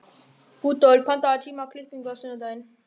Rudolf, pantaðu tíma í klippingu á sunnudaginn.